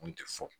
Kun tɛ fɔ